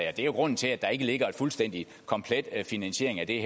er jo grunden til at der ikke ligger en fuldstændig komplet finansiering af det